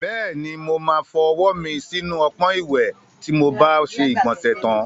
Bẹ́ẹ̀ni, mo máa fọwọ́ mi sínú ọpọ́n ìwẹ̀ tí mo bá ṣe ìgbọ̀nsẹ̀ tán.